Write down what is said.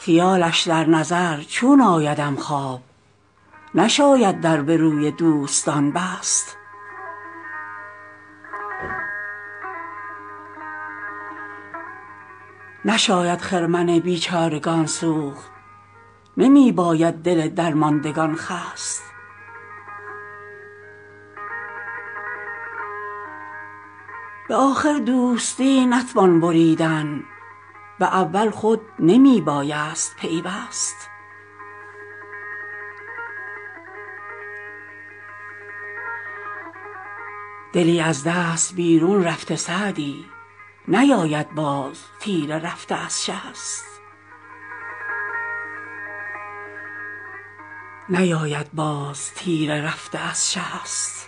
خیالش در نظر چون آیدم خواب نشاید در به روی دوستان بست نشاید خرمن بیچارگان سوخت نمی باید دل درماندگان خست به آخر دوستی نتوان بریدن به اول خود نمی بایست پیوست دلی از دست بیرون رفته سعدی نیاید باز تیر رفته از شست